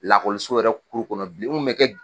Lakɔliso yɛrɛ kɔnɔ bilen n mɛ kɛ